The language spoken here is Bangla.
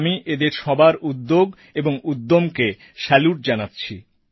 আমি এঁদের সবার উদ্যোগ ও উদ্যমকে স্যালুট জানাচ্ছি